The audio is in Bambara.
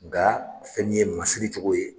Nka fɛn min ye masiri cogo ye.